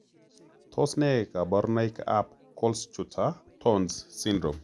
Tos ne kaborunoik ab kohlschutter tonz syndrome